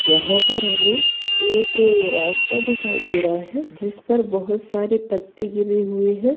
यहाँ पर हमें एक रास्ता दिखाई दे रहा है जिसपे बहोत सारे पत्ते गिरे हुए है ।